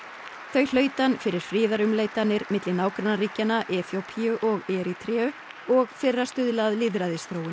þau hlaut hann fyrir friðarumleitanir milli nágrannaríkjanna Eþíópíu og Erítreu og fyrir að stuðla að lýðræðisþróun